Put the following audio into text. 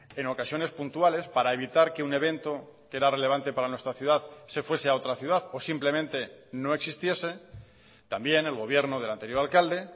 en ocasiones puntuales para evitar que un evento que era relevante para nuestra ciudad se fuese a otra ciudad o simplemente no existiese también el gobierno del anterior alcalde